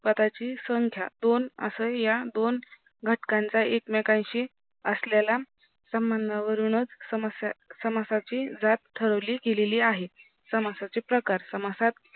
पदाची संख्या दोन असे या दोन घटकांचा एक मेकांशी असलेला संबंधावरुणच समासाची जात ठरवली गेलेली आहे समासाचे प्रकार समासात